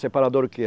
Separadora o que é